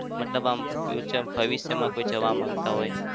મતલબ આમ future ભવિષ્યમાં કોઈ જવા માંગતા હોય?